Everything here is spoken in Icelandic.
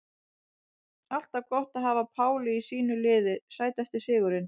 Alltaf gott að hafa Pálu í sínu liði Sætasti sigurinn?